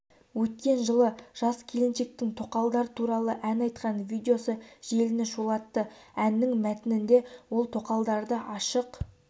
өткен жылы жас келіншектің тоқалдар туралы ән айтқан видеосы желіні шулатты әннің мәтінінде ол тоқалдарды ашық